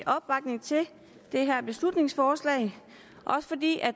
opbakning til det her beslutningsforslag også fordi